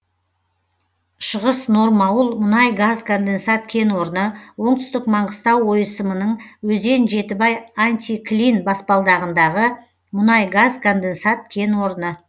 шығыс нормауыл мұнай газ конденсат кен орны оңтүстік маңғыстау ойысымының өзен жетібай антиклин баспалдағындағы мұнай газ конденсат кен орны